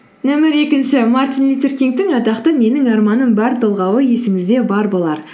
нөмір екінші мартин лютер кингтің атақты менің арманым бар толғауы есіңізде бар болар